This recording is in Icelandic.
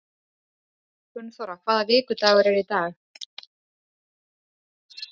Gunnþóra, hvaða vikudagur er í dag?